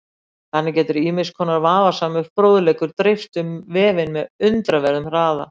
Þannig getur ýmiss konar vafasamur fróðleikur dreifst um vefinn með undraverðum hraða.